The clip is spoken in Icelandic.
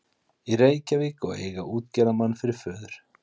í Reykjavík og eiga útgerðarmann fyrir föður.